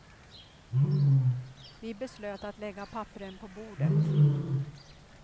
Vi beslöt att lägga papperen på bordet.